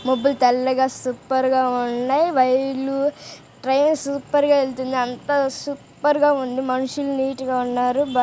పువ్వులు తెల్లగా సూపర్ గా వైర్లు ట్రైన్ సూపర్ గా వెళ్తోంది. అంత సూపర్ గా ఉంది. మనుషులు నీట్ గా ఉన్నారు.